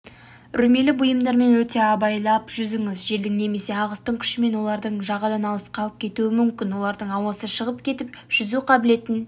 үрілмелі бұйымдармен өте абайлап жүзіңіз желдің немесе ағыстың күшімен оларды жағадан алысқа алып кетуі мүмкін олардың ауасы шығып кетіп жүзу қабілетін